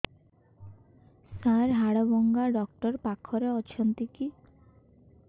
ସାର ହାଡଭଙ୍ଗା ଡକ୍ଟର ପାଖରେ ଅଛନ୍ତି କି